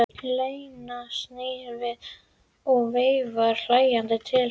Lena snýr sér við og veifar hlæjandi til hennar.